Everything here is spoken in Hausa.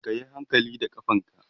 kayi hankali da ƙafanka!